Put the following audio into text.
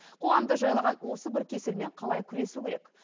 қоғамды жайлаған осы бір кеселмен қалай күресу керек